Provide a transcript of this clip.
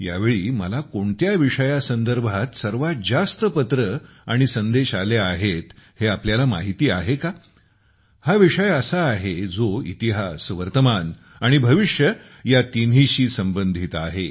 यावेळी मला कोणत्या विषयासंदर्भात सर्वात जास्त पत्रे आणि संदेश आले आहेत हे तुम्हाला माहिती आहे का हा विषय असा आहे जो इतिहास वर्तमान आणि भविष्य या तिन्हीशी संबंधित आहेत